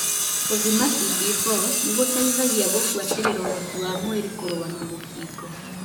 Gũthima CD4 nĩgũteithagia gũbuatĩrĩra ũhoti wa mwĩri kũrũa na mũkingo.